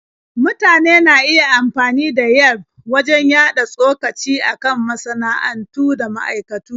Mutane na iya amfani da Yelf wajen yaɗa tsokaci a kan masana'antu da ma'aikatu.